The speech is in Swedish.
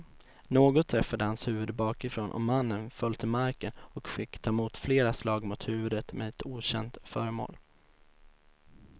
Något träffade hans huvud bakifrån och mannen föll till marken och fick ta emot flera slag mot huvudet med ett okänt föremål.